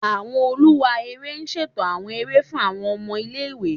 Awọn oluwa ere ṣeto awọn ere fun awọn ọmọ ile-iwe